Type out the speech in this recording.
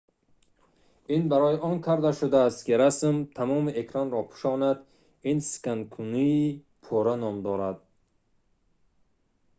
ин барои он карда шудааст ки расм тамоми экранро пӯшонад ин сканкунии пурра ном дорад